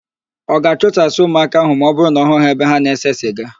Ọ ga-achụsasị ụmụaka ahụ ma ọ hụ ha ebe ha na-ese siga?